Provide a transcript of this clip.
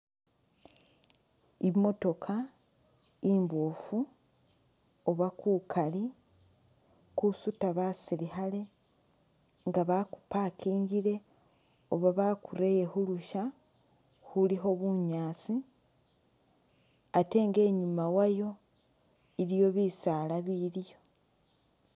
Imotokha imboofu oba kukaali kusuuta basilikhaale nga bakupakingile oba bakurele khulusha khulikho bunyaasi ate nga inyuma wayo iliyo bisaala biliyo.